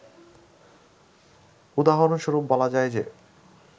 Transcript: উদাহরণ স্বরূপ বলা যায় যে